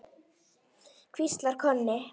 hvíslar Konni.